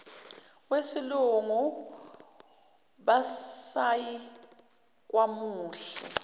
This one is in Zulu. wesilungu basayina kwamuhle